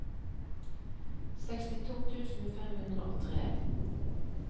sekstito tusen fem hundre og tre